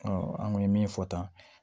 an kun ye min fɔ tan